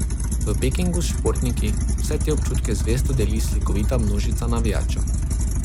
V Pekingu s športniki vse te občutke zvesto deli slikovita množica navijačev.